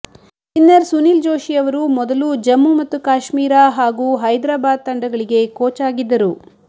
spinner Sunil Joshi ಅವರು ಮೊದಲು ಜಮ್ಮು ಮತ್ತು ಕಾಶ್ಮೀರ ಹಾಗೂ ಹೈದರಾಬಾದ್ ತಂಡಗಳಿಗೆ ಕೋಚ್ ಆಗಿದ್ದರು